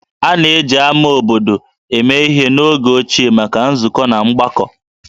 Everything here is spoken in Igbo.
A na-eji ámá obodo eme ihe n'oge ochie maka nzukọ na mgbakọ